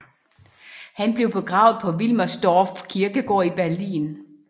Han blev begravet på Wilmersdorf kirkegård i Berlin